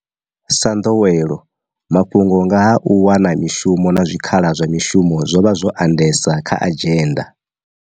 Sa nḓowelo, mafhungo nga ha u wana mishumo na zwikhala zwa mishumo zwo vha zwo a ndesa kha adzhenda.